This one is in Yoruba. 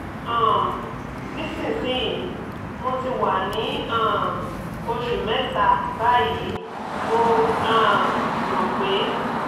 um nísinsìnyí mo ti wà ní um oṣù mẹ́ta báyìí mo um rò pé